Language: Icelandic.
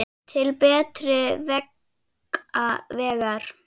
Til betri vegar.